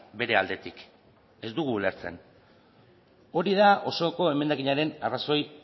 bere aldetik ez dugu ulertzen hori da osoko emendakinaren arrazoi